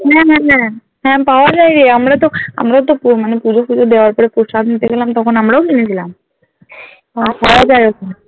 হ্যাঁ হ্যাঁ হ্যাঁ হ্যাঁ পাওয়া যায় রে আমরাতো আমরাতো প মানে পুজো ফুজো দেওয়ার পরে প্রসাদ নিতে গেলাম তখন আমরাও কিনেছিলাম হ্যাঁ পাওয়া যায় ওখানে